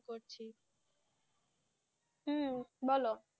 হম বল,